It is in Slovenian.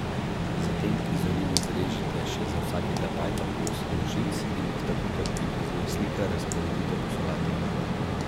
Zatem iz oliv izrežite še za vsakega pajka po osem nožic in jih tako, kot prikazuje slika, razporedite po solati.